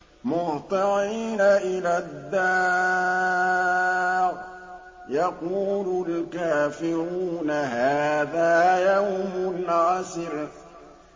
مُّهْطِعِينَ إِلَى الدَّاعِ ۖ يَقُولُ الْكَافِرُونَ هَٰذَا يَوْمٌ عَسِرٌ